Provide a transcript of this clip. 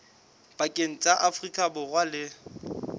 pakeng tsa afrika borwa le